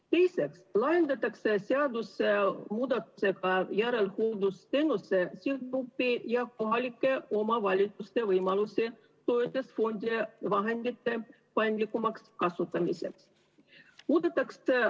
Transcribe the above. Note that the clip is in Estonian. Teiseks laiendatakse seadusemuudatusega järelhooldusteenuse sihtgruppi ja kohalike omavalitsuste võimalusi toetusfondide vahendite paindlikumaks kasutamiseks.